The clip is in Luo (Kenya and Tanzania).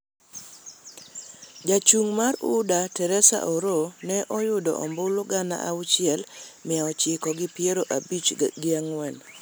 Ja chung' mar UDA, Teresa Oroo, ne oyudo ombulu gana auchiel, mia ochiko gi piero abich gi ang'wen.